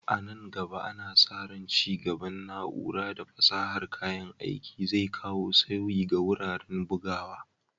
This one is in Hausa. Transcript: A nan gaba, ana sa ran ci gaban na'ura da fasahar kayan aiki zai kawo sauyi ga wuraren bugawa.